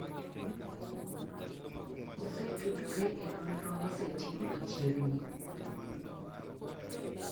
Osetudore e nonro mosetim machiegni